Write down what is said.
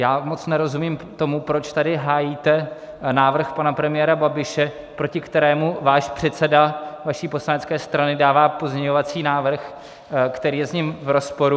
Já moc nerozumím tomu, proč tady hájíte návrh pana premiéra Babiše, proti kterému váš předseda vaší poslanecké strany dává pozměňovací návrh, který je s ním v rozporu.